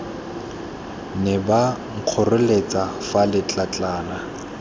ne ba nkgoreletsa fa letlatlana